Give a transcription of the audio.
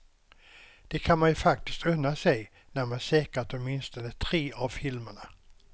Det kan man ju faktiskt unna sig när man säkrat åtminstone tre av filmerna.